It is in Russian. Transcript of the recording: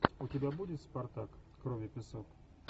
у тебя будет спартак кровь и песок